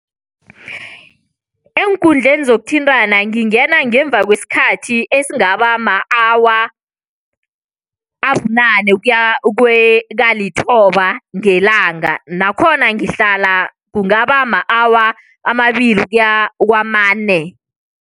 Eenkundleni zokuthintana ngingena ngemva kwesikhathi esingaba ma-awa abunane ukuya kalithoba ngelanga nakhona ngihlala kungaba ma-awa amabili ukuya kwamane.